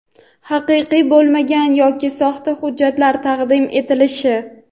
haqiqiy bo‘lmagan yoki soxta hujjatlar taqdim etilishi;.